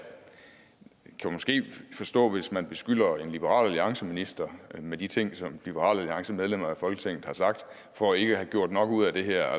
kan måske forstå hvis man beskylder en liberal alliance minister med de ting som liberal alliance medlemmer af folketinget har sagt for ikke at have gjort nok ud af det her